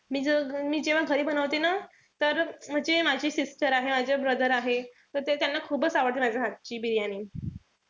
मी जे मी जेव्हा घरी बनवते ना तर म्हणजे माझी sister आहे माझे brother आहे तर ते त्याना खूपच आवडते माझ्या हातची बिर्याणी.